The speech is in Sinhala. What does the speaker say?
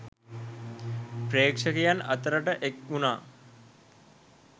ප්‍රේක්ෂකයන් අතරට එක් වුණා